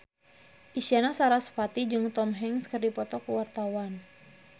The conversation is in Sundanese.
Isyana Sarasvati jeung Tom Hanks keur dipoto ku wartawan